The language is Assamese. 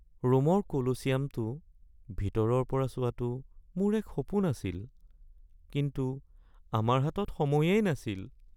ৰোমৰ কলোচিয়ামটো ভিতৰৰ পৰা চোৱাটো মোৰ এক সপোন আছিল কিন্তু আমাৰ হাতত সময়েই নাছিল